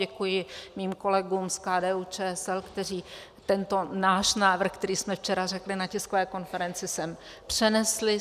Děkuji svým kolegům z KDU-ČSL, kteří tento náš návrh, který jsme včera řekli na tiskové konferenci, sem přenesli.